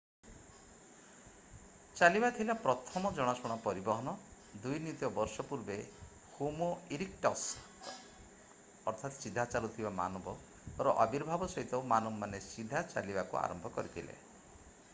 ଚାଲିବା ଥିଲା ପ୍ରଥମ ଜଣାଶୁଣା ପରିବହନ ଦୁଇ ନିୟୁତ ବର୍ଷ ପୂର୍ବେ ହୋମୋ ଇରିକ୍ଟସ୍‌ର ଅର୍ଥାତ୍‍ ସିଧା ଚାଲୁଥିବା ମାନବର ଆବିର୍ଭାବ ସହିତ ମାନବମାନେ ସିଧା ଚାଲିବାକୁ ଆରମ୍ଭ କରିଥିଲେ i